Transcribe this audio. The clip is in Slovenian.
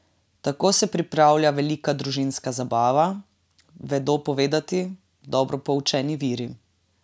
Tako se pripravlja velika družinska zabava, vedo povedati dobro poučeni viri.